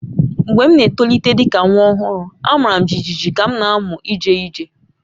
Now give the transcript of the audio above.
Mgbe m n'etolite dị ka nwa ọhụrụ, a mara m jijiji ka m na-amụ ije ije